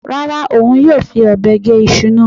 Rárá, òun yóò fi ọ̀bẹ gé iṣu náà.